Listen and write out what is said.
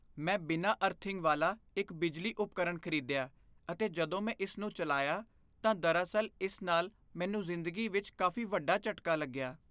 ਮੈਂ ਬਿਨਾਂ ਅਰਥਿੰਗ ਵਾਲਾ ਇੱਕ ਬਿਜਲੀ ਉਪਕਰਣ ਖ਼ਰੀਦਿਆ ਅਤੇ ਜਦੋਂ ਮੈਂ ਇਸ ਨੂੰ ਚਲਾਇਆ ਤਾਂ ਦਰਅਸਲ ਇਸ ਨਾਲ ਮੈਨੂੰ ਜਿੰਦਗੀ ਵਿਚ ਕਾਫ਼ੀ ਵੱਡਾ ਝਟਕਾ ਲੱਗਿਆ।